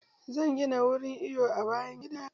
Zan gina wurin iwo a bayan gida na.